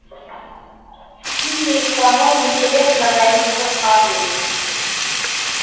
мне и самой интересно на них посмотреть